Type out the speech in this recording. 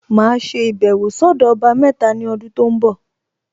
Màá ṣe ìbẹ̀wọ̀ sọ́dọ̀ ọba mẹ́ta ní ọdún tó ń bọ̀